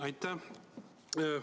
Aitäh!